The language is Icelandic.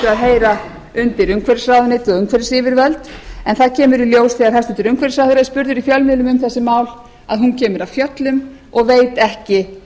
að heyra undir umhverfisráðuneytið og umhverfisyfirvöld en það kemur í ljós þegar hæstvirtur umhverfisráðherra er spurður í fjölmiðlum um þessi mál að hún kemur af fjöllum og veit ekki